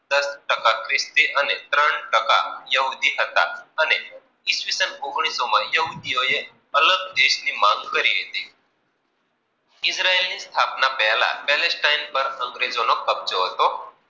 ઓગણીસ ટકાક્રિષ્ટી અને ત્રણ ટકા યોધી હતા. અને ઇસ્વિશન ઓગણીસ માં યોધીઓએ અલગ દેશ ની માગ કરી હતી. ઈજરાયલની સ્થાપના પહેલા પેલેસ ટાઈમ પર અંગ્રેજો નો કબ્જો હતો,